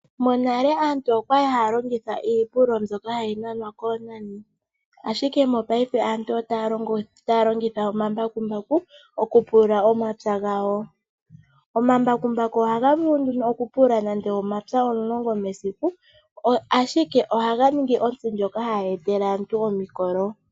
Monale aantu oyali hayalongitha iipulu mbyoka hayi nanwa koonani ashike mopaife aantu otaya longitha omambakumbaku okupulula momapya gawo, omambakumbaku ohaga vulu okupulula nando omapya omulongo mesiku ashike ohaganingi omutsi ngoka hagu etele aantu omikolo.